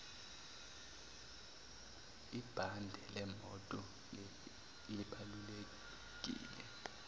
ibhande lemoto libaluleke